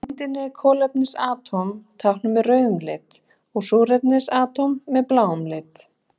Á myndinni eru kolefnisatóm táknuð með rauðum lit og súrefnisatóm með bláum lit.